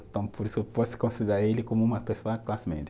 Então por isso eu posso considerar ele como uma pessoa classe média.